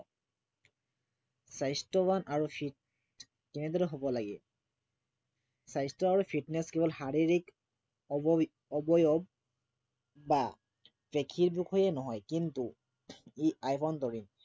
স্বাস্থ্য়বান আৰু fit কেনেদৰে হব লাগে, স্বাস্থ্য় আৰু fitness কেৱল শাৰীৰক অৱ অৱয়ব বা পেশীৰ বিষয়ে নহয় কিনতু ই আভ্য়ন্তৰীণ